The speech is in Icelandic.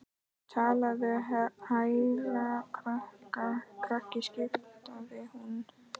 Talaðu hærra krakki skipaði hún.